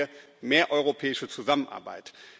Da brauchen wir mehr europäische Zusammenarbeit.